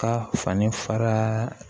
Ka fani fara